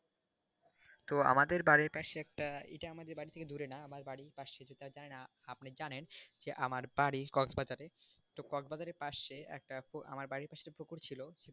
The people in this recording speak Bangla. তো আমাদের বাড়ির পাশে একটা এটা আনাদের বাড়ির থেকে দূরে না আমাদের বাড়ির পাশে তো আমি জানিনা আপনি জানেন যে আমার বাড়ি cross bazar এ তো cross bazar এর পাশে একটা আমার বাড়ির পাশে একটা পুকুর ছিল